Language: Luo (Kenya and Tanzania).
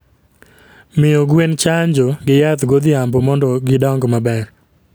Miyo gwen chanjo gi yath godhiambo mondo gidong maber